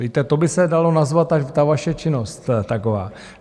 Víte, tak by se dala nazvat ta vaše činnost taková.